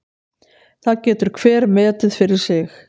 Það getur hver metið fyrir sig.